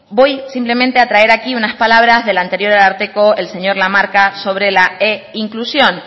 voy simplemente a traer aquí unas palabras del anterior ararteko el señor lamarca sobre la einclusión